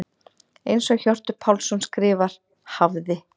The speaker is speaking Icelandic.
Eins og Hjörtur Pálsson skrifar: Hafði.